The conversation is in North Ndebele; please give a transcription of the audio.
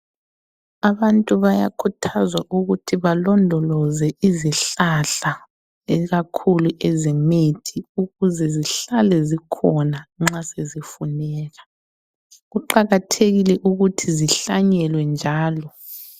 Abantu bayakhuthazwa ukuthi balondoloze izihlahla ikakhulu ezemithi ukuze zihlale zikhona nxa sezifuneka. Kuqakathekile ukuthi zihlanyelwe njalo.